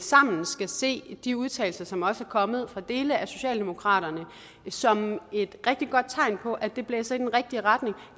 sammen skal se de udtalelser som også er kommet fra dele af socialdemokraterne som et rigtig godt tegn på at det blæser i den rigtige retning